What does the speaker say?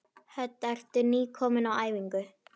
Hödd: Ertu nýkominn á æfingu?